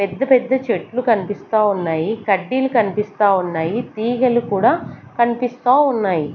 పెద్ద పెద్ద చెట్లు కన్పిస్తా ఉన్నాయి కడ్డీలు కన్పిస్తా ఉన్నాయి తీగలు కూడా కన్పిస్తా ఉన్నాయి.